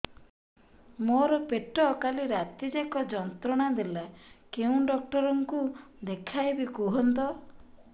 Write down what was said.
ମୋର ପେଟ କାଲି ରାତି ଯାକ ଯନ୍ତ୍ରଣା ଦେଲା କେଉଁ ଡକ୍ଟର ଙ୍କୁ ଦେଖାଇବି କୁହନ୍ତ